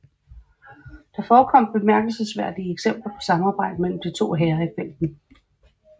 Der forekom bemærkelsesværdige eksempler på samarbejde mellem de to hære i felten